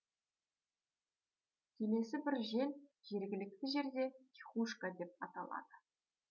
келесі бір жел жергілікті жерде тихушка деп аталады